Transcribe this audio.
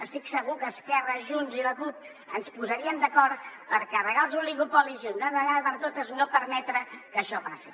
estic segur que esquerra junts i la cup ens posaríem d’acord per carregar nos els oligopolis i d’una vegada per totes no permetre que això passi